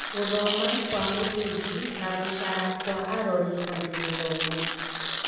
Gũthoma kwa mũthingi, na gũcara wa arori and gĩthomo.